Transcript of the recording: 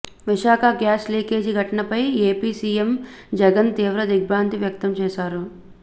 Visakha gas leakage ఘటనపై AP CM Jagan తీవ్ర దిగ్భ్రాంతి వ్యక్తం చేశారు